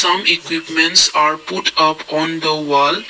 some equipments are put up on the wall.